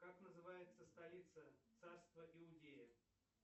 как называется столица царства иудеев